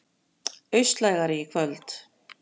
Austlægari í kvöld